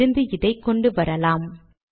அங்கிருந்து அதை கொண்டு வரலாம்